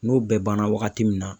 N'o bɛɛ banna wagati min na